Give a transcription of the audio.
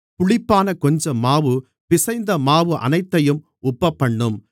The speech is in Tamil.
புளிப்பான கொஞ்சம் மாவு பிசைந்த மாவு அனைத்தையும் உப்பப்பண்ணும்